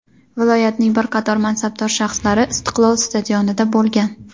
viloyatning bir qator mansabdor shaxslari "Istiqlol" stadionida bo‘lgan.